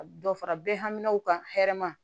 Dɔ fara bɛɛ haminaw kan hɛrɛ ma